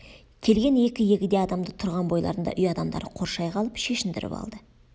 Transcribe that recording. келген екі егде адамды тұрған бойларында үй адамдары қоршай қалып шешіндіріп алды